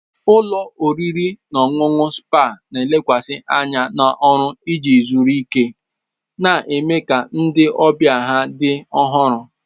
Ụlọ oriri na ọṅụṅụ spa na-elekwasị anya na ọrụ iji zuru ike na ime ka ndị ọbịa ha dị ọhụrụ.